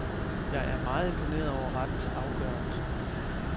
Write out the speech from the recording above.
Jeg er meget imponeret over rettens afgørelse.